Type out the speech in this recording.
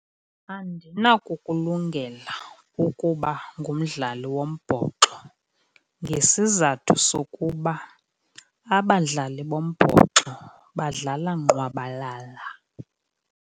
Andinakukulungela ukuba ngumdlali wombhoxo ngesizathu sokuba abadlali bombhoxo badlala ngqwabalala.